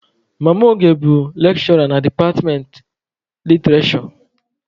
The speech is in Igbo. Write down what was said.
Mama Oge bụ lekshụra na departmentị literishure.